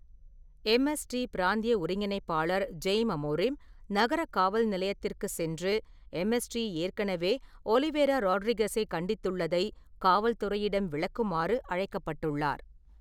MST பிராந்திய ஒருங்கிணைப்பாளர் Jaime Amorim நகர காவல் நிலையத்திற்கு சென்று, எம்எஸ்டி ஏற்கனவே ஒளிவிரா ரோட்ரிகசைக் கண்டித்துள்ளதை காவல்துறையிடம் விளக்குமாறு அழைக்கப்பட்டுள்ளார்.